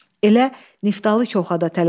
Elə Niftalı köxa da tələsirdi.